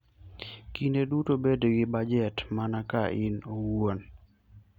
Kinde duto bed gi bajet mana ka in iwuon.